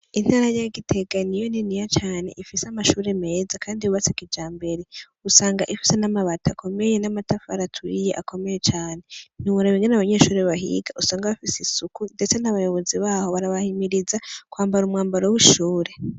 Intara rya giteganiyo niniya cane ifise amashure meza, kandi bubatseka ija mbereusanga ifise n'amabati akomeye n'amataf aratuiye akomeye cane nubra bengane abanyeshure bahiga usanga abafise isuku, ndetse n'abayobozi baho barabahimiriza kwambara umwambaro w'ishure.